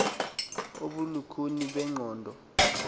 obo bulukhuni bengqondo